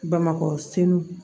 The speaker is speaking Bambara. Bamakɔ senw